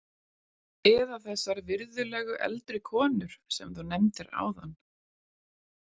Eða þessar virðulegu eldri konur sem þú nefndir áðan?